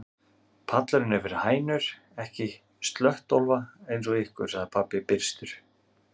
Pallurinn er fyrir hænur, ekki slöttólfa eins og ykkur, sagði pabbi byrstur.